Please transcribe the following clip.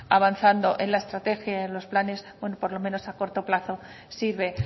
avanzando en la estrategia y en los planes bueno por lo menos a corto plazo sirve